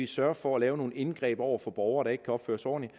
sørge for at lave nogle indgreb over for borgere der ikke kan opføre sig ordentligt